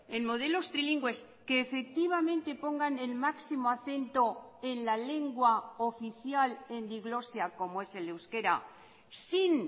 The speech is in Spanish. en modelos trilingües que efectivamente pongan el máximo acento en la lengua oficial en diglosia como es el euskera sin